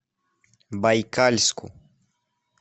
байкальску